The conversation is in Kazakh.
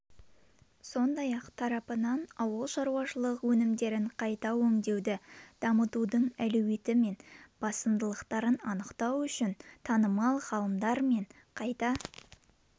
сондай-ақ тарапынан ауылшарушалық өнімдерін қайта өңдеуді дамытудың әлеуеті мен басымдықтарын анықтау үшін танымал ғалымдар мен қайта